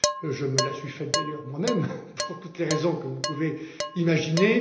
Je me la suis faite d'ailleurs moi même pour toutes les raisons que vous pouvez imaginer.